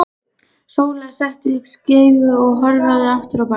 Sóla setti upp skeifu og hörfaði aftur á bak.